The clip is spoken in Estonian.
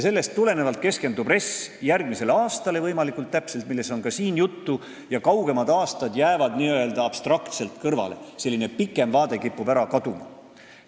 Sellest tulenevalt keskendub RES võimalikult täpselt järgmisele aastale, sellest on ka siin juttu, ja kaugemad aastad jäävad n-ö abstraktselt kõrvale, selline pikem vaade kipub ära kaduma.